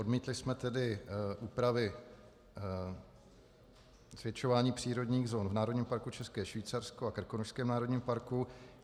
Odmítli jsme tedy úpravy zvětšování přírodních zón v Národním parku České Švýcarsko a Krkonošském národním parku.